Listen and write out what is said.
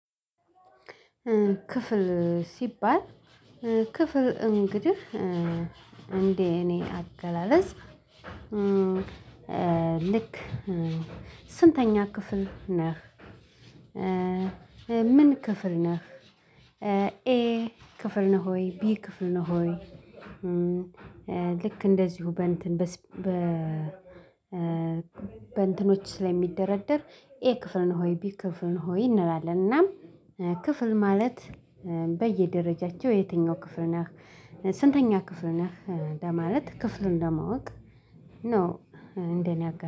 ክፍል ሲባል ክፍል እንግዲህ እንደ እኔ አገላለጽ ልክ ስንተኛ ክፍል ነህ? ምን ክፍል ነህ? ኤ ክፍል ነህ ሆይ ቢ ክፍል ነው ሆይ። ልክ እንደዚሁ በእንትን በ በእንትኖች ስለሚደረደር ኤ ክፍል ነህ ሆይ ቢ ክፍል ነው። ሆይ እንላለን እናም ክፍል ማለት በየደረጃቸው የትኛው ክፍል ነህ ስንተኛ ክፍል ነህ ለማለት ክፍሉን ለማወቅ ነው። እንደ እኔ አገላለጽ